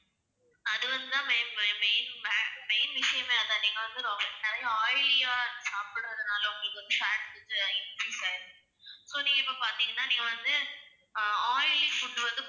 அது வந்து தான் ma'am main மே~ main விஷயமே அது தான் நீங்க வந்து நிறைய oily ஆ சாப்டுறதுனால உங்களுக்கு வந்து fat வந்து increase ஆகிருக்கு. so நீங்க இப்போ பாத்தீங்கன்னா நீங்க வந்து oily food வந்து